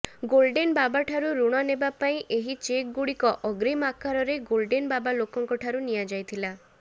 golden ବାବାଠାରୁ ଋଣ ନେବାପାଇଁ ଏହି ଚେକ ଗୁଡିକ ଅଗ୍ରୀମ ଆକାରରେ ଗୋଲଡେନ ବାବା ଲୋକଙ୍କ ଠାରୁ ନିଆଯାଇଥିଲା